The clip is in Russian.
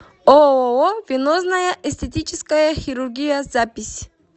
ооо венозная эстетическая хирургия запись